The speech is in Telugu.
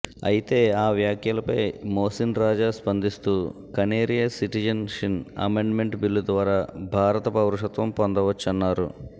అయితే ఆ వ్యాఖ్యలపై మోసిన్ రాజా స్పందిస్తూ Kaneria citizenship amendment bill ద్వారా భారత పౌరసత్వం పొందవచ్చన్నారు